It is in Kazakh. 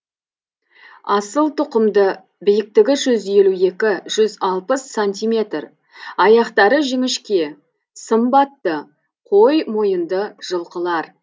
асыл тұқымды биіктігі жүз елу екі жүз алпыс сантиметр аяқтары жіңішке сымбатты қой мойынды жылқылар